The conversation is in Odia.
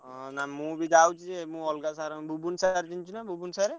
ହଁ ନା ମୁଁ ବି ଯାଉଛି ଯେ ମୁଁ ଅଲଗା sir ବୁବୁନୁ sir ଚିହ୍ନିଛୁ ନା ବୁବୁନୁ sir